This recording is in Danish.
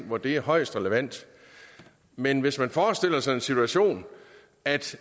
hvor det er højst relevant men hvis man forestiller sig den situation at